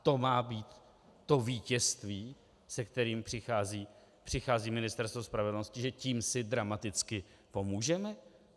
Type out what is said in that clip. A to má být to vítězství, se kterým přichází Ministerstvo spravedlnosti, že tím si dramaticky pomůžeme?